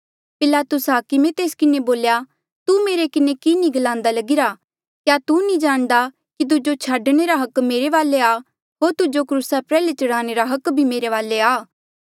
पिलातुस हाकमे तेस किन्हें बोल्या तू मेरे किन्हें कि नी गलान्दा लगिरा क्या तू नी जाणदा कि तुजो छाडणे रा हक मेरे वाले आ होर तुजो क्रूसा प्रयाल्हे चढ़ाणे रा हक भी मेरे वाले आ